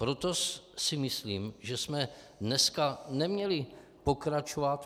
Proto si myslím, že jsme dneska neměli pokračovat.